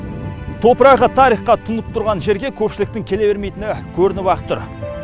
топырағы тарихқа тұнып тұрған жерге көпшіліктің келе бермейтіндігі көрініп ақ тұр